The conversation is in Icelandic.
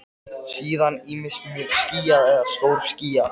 Síðan ýmist mjög skýjað eða stórskýjað.